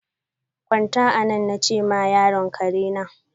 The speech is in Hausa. Gwanta anan! na che ma yaron karena.